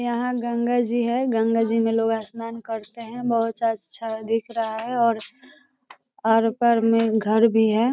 यहां गंगा जी है गंगा जी में लोग स्नान करते हैं बहोत अच्छा दिख रहा है और आर पार में घर भी है |